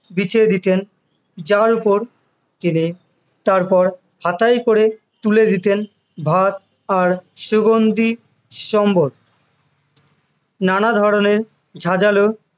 বিছিয়ে দিতেন, যার ওপর তিনি তারপর হাতায় করে তুলে দিতে ভাত আর সুগন্ধি সম্বর, নানা ধরণের ঝাঁঝালো,